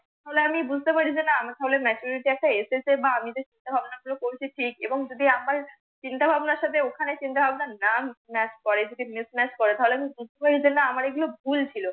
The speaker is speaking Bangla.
তাহলে আমি বুঝতে পারি যে না আমি যে চিন্তা ভাবনা গুলো করতেছি এবং যদি আমার চিন্তা ভাবনার সাথে ওখানে চিন্তা ভাবনা না MATCH করে যদি MISSMATCH করে তাহলে আমি বুঝবই যে না এগুলো আমার ভুল ছিল।